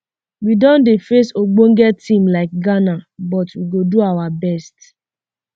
we don dey face um ogbonge team like ghana but um we go do our best